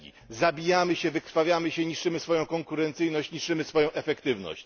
2 Zabijamy się, wykrwawiamy się, niszczymy swoją konkurencyjność, niszczymy swoją efektywność.